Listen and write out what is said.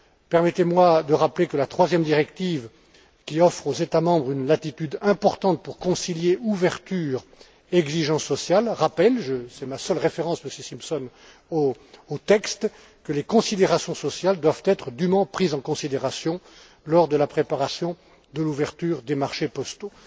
Permettez moi de rappeler que la troisième directive, qui offre aux États membres une latitude importante pour concilier ouverture et exigence sociale, précise c'est ma seule référence au texte, Monsieur Simpson que les considérations sociales doivent être dûment prises en compte lors de la préparation de l'ouverture des marchés postaux.